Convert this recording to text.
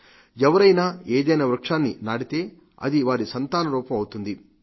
ఎవరైనా ఏదైనా వృక్షాన్ని నాటితే అది వారి సంతాన రూపం అవుతుంది